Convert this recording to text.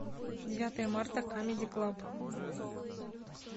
девятое марта камеди клаб